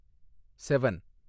seven